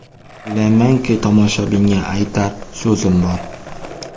O‘ylaymanki, tomoshabinga aytar so‘zim bor.